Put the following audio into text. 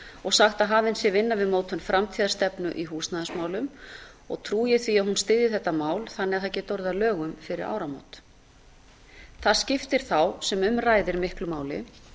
og sagt að hafin sé vinna við mótun framtíðarstefnu í húsnæðismálum og trúi ég því að hún styðji þetta mál þannig að það geti orðið að lögum fyrir áramót það skiptir þá sem um ræðir miklu máli